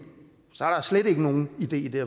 er der slet ikke nogen idé i det